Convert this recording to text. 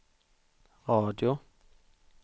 radio